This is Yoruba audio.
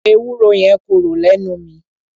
Ewúro yẹn korò lẹ́nu mi.